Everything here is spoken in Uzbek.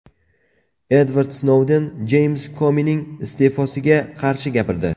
Edvard Snouden Jeyms Komining iste’fosiga qarshi gapirdi.